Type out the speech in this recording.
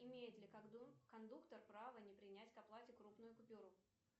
имеет ли кондуктор право не принять к оплате крупную купюру